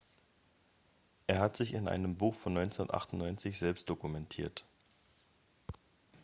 er hat sich in einem buch von 1998 selbst dokumentiert